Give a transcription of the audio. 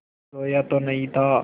रोया तो नहीं था